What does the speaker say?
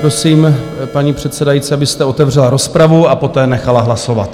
Prosím, paní předsedající, abyste otevřela rozpravu a poté nechala hlasovat.